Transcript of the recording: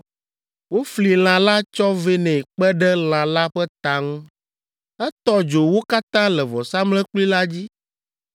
Wofli lã la tsɔ vɛ nɛ kpe ɖe lã la ƒe ta ŋu. Etɔ dzo wo katã le vɔsamlekpui la dzi.